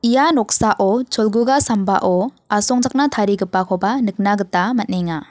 ia noksao cholguga sambao asongchakna tarigipakoba nikna gita man·enga.